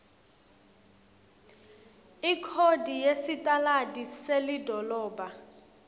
ikhodi yesitaladi selidolobha